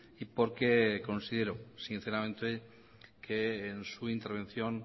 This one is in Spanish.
y porque considero sinceramente que en su intervención